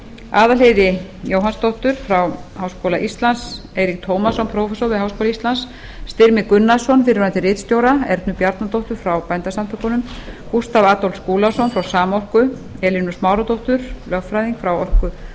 aðalheiði jóhannsdóttur frá háskóla íslands eirík tómasson prófessor við háskóla íslands styrmi gunnarsson fyrrverandi ritstjóra ernu bjarnadóttur frá bændasamtökunum gústaf adolf skúlason frá samorku elínu smáradóttur lögfræðing frá